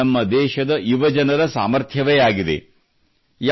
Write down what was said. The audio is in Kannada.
ಇದು ನಮ್ಮ ದೇಶದ ಯುವಜನರ ಸಾಮರ್ಥ್ಯವೇ ಆಗಿದೆ